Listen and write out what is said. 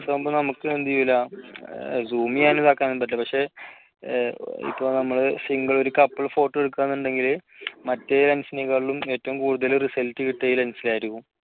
lense ആകുമ്പോൾ നമുക്ക് എന്ത് ചെയ്യില്ല zoom ചെയ്യാനും ഇതാക്കാനും പറ്റില്ല പക്ഷേ ഇപ്പോൾ നമ്മളെ single ഒരു couple photo എടുക്കുവാണെന്നുണ്ടെങ്കില് മറ്റേ lense നെ കാട്ടിലും ഏറ്റവും കൂടുതൽ result കിട്ടുന്നത് ഈ lense ന് ആയിരിക്കും.